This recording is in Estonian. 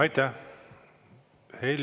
Aitäh!